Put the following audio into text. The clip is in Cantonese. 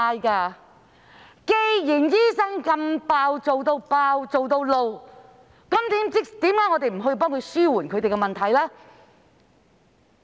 既然醫生"做到爆"，"做到發怒"，為何我們不幫助他們紓緩問題？